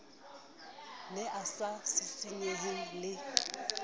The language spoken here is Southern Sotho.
ne a sa sisinyehe le